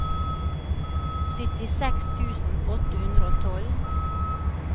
syttiseks tusen åtte hundre og tolv